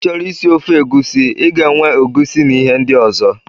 I choro-isi ofe egusi, ị ga-enwe egusi na ihe ndị ọzọ.